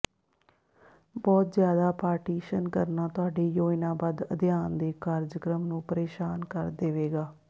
ਬਹੁਤ ਜ਼ਿਆਦਾ ਪਾਰਟੀਸ਼ਨ ਕਰਨਾ ਤੁਹਾਡੇ ਯੋਜਨਾਬੱਧ ਅਧਿਐਨ ਦੇ ਕਾਰਜਕ੍ਰਮ ਨੂੰ ਪਰੇਸ਼ਾਨ ਕਰ ਦੇਵੇਗਾ